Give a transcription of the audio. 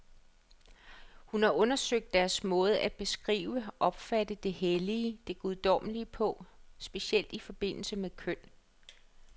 Hun har undersøgt deres måde at beskrive, opfatte det hellige, det guddommelige på, specielt i forbindelse med køn.